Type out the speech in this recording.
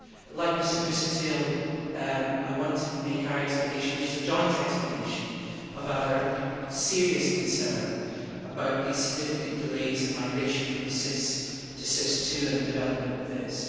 Like Mr Busuttil, I want to set out an explanation which is a joint explanation of our serious concern regarding the significant delays in migration from SIS to SIS II and the development of VIS.